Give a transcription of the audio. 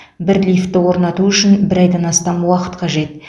бір лифтті орнату үшін бір айдан астам уақыт қажет